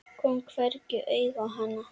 Kom hvergi auga á hana.